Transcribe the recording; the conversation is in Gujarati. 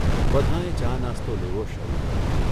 બધાંએ ચા નાસ્તો લેવો શરૂ કર્યો.